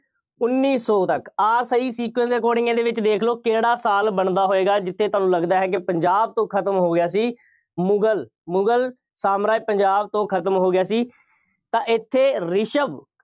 ਉੱਨੀ ਸੌ ਤੱਕ, ਆਹ ਸਹੀ sequence ਦੇ according ਇਹਦੇ ਵਿੱਚ ਦੇਖ ਲਓ, ਕਿਹੜਾ ਸਾਲ ਬਣਦਾ ਹੋਏਗਾ, ਜਿੱਥੇ ਤੁਹਾਨੂੰ ਲੱਗਦਾ ਹੈ ਕਿ ਪੰਜਾਬ ਤੋਂ ਖਤਮ ਹੋ ਗਿਆ ਸੀ, ਮੁਗਲ, ਮੁਗਲ ਸਾਮਰਾਜ ਪੰਜਾਬ ਤੋਂ ਖਤਮ ਹੋ ਗਿਆ ਸੀ ਤਾਂ ਇੱਥੇ ਰਿਸ਼ਵ